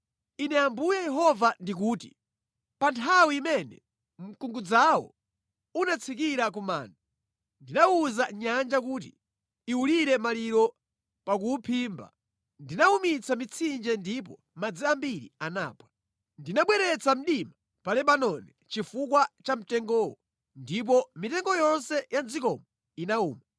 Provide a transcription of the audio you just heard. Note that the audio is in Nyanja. “ ‘Ine Ambuye Yehova ndikuti: Pa nthawi imene mkungudzawo unatsikira ku manda, ndinawuza nyanja kuti iwulire maliro pakuwuphimba. Ndinawumitsa mitsinje ndipo madzi ambiri anaphwa. Ndinabweretsa mdima pa Lebanoni chifukwa cha mtengowo ndipo mitengo yonse ya mʼdzikomo inawuma.